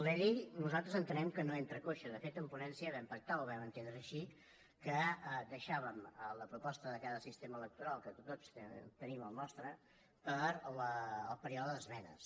la llei nosaltres entenem que no entra coixa de fet en ponència vam pactar ho vam entendre així que deixàvem la proposta de cada sistema electoral que tots tenim el nostre per al període d’esmenes